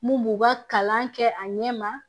Mun b'u ka kalan kɛ a ɲɛma